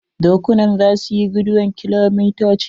Dokuna za su iya guduwan kilomotoci.